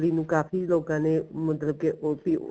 ਇਮਲੀ ਨੂੰ ਕਾਫੀ ਲੋਕਾ ਨੇ ਮਤਲਬ ਕੀ ਉੱਥੇ ਈ